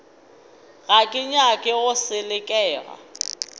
ga ke nyake go selekega